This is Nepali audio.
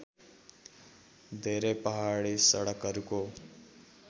धेरै पहाडी सडकहरूको